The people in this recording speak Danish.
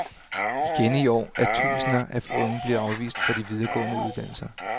Igen i år er tusinder af unge blevet afvist fra de videregående uddannelser.